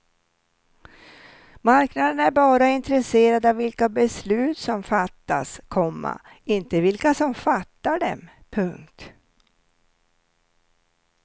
Marknaden är bara intresserad av vilka beslut som fattas, komma inte vilka som fattar dem. punkt